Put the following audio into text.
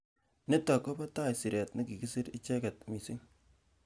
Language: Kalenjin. Nitok kopatai siret nekikisir icheket missing